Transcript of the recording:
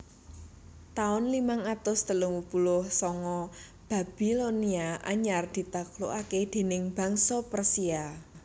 Taun limang atus telung puluh sanga Babilonia anyar ditaklukake déning bangsa Persia